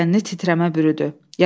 Bədənini titrəmə bürüdü.